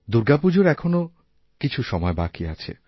দুর্গাপূজার এখনও কিছু সময় বাকি আছে